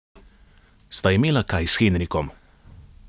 Sta imela kaj s Henrikom?